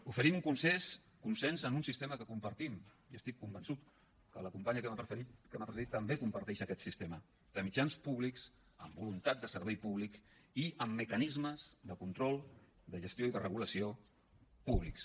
oferim un consens en un sistema que compartim i estic convençut que la companya que m’ha precedit també comparteix aquest sistema de mitjans públics amb voluntat de servei públic i amb mecanismes de control de gestió i de regulació públics